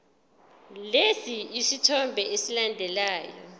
lesi sithombe esilandelayo